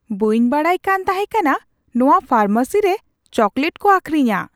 ᱵᱟᱹᱧ ᱵᱟᱰᱟᱭ ᱠᱟᱱ ᱛᱟᱦᱮᱸ ᱠᱟᱱᱟ ᱱᱚᱶᱟ ᱯᱷᱟᱨᱢᱮᱥᱤ ᱨᱮ ᱪᱚᱠᱞᱮᱴ ᱠᱚ ᱟᱹᱠᱷᱨᱤᱧᱟ !